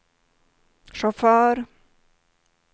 chaufför